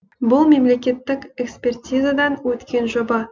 бұл мемлекеттік экспертизадан өткен жоба